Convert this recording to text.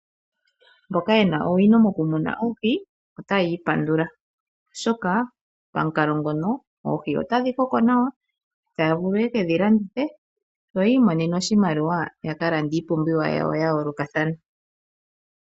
Aantu mboka yena owino moku muna oohi, otayi ipandula oshoka pamukalo ngono oohi otadhi koko nawa, taya vulu yeke dhi landithe, yo yi imonene oshimaliwa yaka lande iipumbiwa yawo ya yoolokathana.